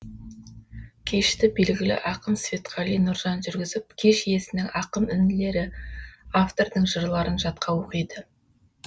кешті белгілі ақын светқали нұржан жүргізіп кеш иесінің ақын інілері автордың жырларын жатқа оқиды